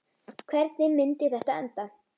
Hvernig myndi þetta enda?